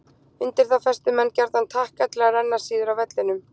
Undir þá festu menn gjarnan takka til að renna síður á vellinum.